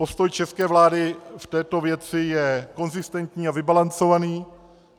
Postoj české vlády v této věci je konzistentní a vybalancovaný.